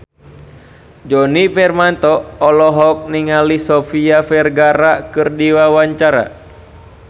Djoni Permato olohok ningali Sofia Vergara keur diwawancara